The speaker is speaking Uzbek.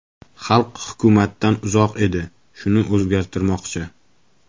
Xalq hukumatdan uzoq edi, shuni o‘zgartirmoqchi.